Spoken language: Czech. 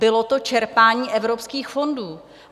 Bylo to čerpání evropských fondů.